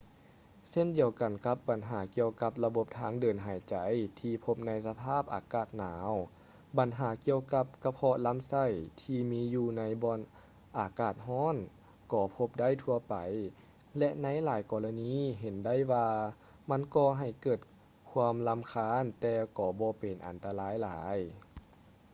ເຊັ່ນດຽວກັນກັບບັນຫາກ່ຽວກັບລະບົບທາງເດີນຫາຍໃຈທີ່ພົບໃນສະພາບອາກາດໜາວ ບັນຫາກ່ຽວກັບກະເພາະລຳໄສ້ທີ່ມີຢູ່ໃນບ່ອນອາກາດຮ້ອນກໍພົບໄດ້ທົ່ວໄປ ແລະ ໃນຫຼາຍລະນີເຫັນໄດ້ວ່າມັນກໍໍໃຫ້ເກີດຄວາມລຳຄານແຕ່ບໍ່ເປັນອັນຕະລາຍຫຼາຍ